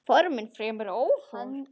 Formin fremur ófögur.